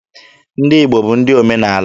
Ndị Igbo bụ ndị omenaala.